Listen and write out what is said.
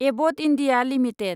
Abbott India limited